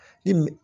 I m